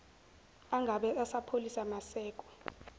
angabe esapholisa maseko